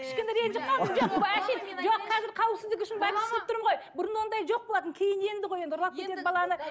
кішкене ренжіп қалдым жоқ қазір қауіпсіздік үшін бәрін түсініп тұрмын ғой бұрын ондай жоқ болатын кейін енді ғой енді ұрлап кетеді баланы